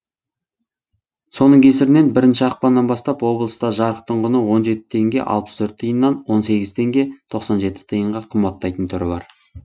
соның кесірінен бірінші ақпаннан бастап облыста жарықтың құны он жеті теңге алпыс төрт тиыннан он сегіз теңге тоқсан жеті тиынға қымбаттайтын түрі бар